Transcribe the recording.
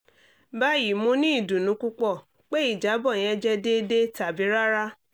bayi mo ni idunnu pupọ pe ijabọ yẹn jẹ deede tabi rara